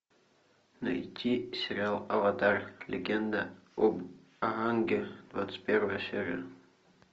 найти сериал аватар легенда об аанге двадцать первая серия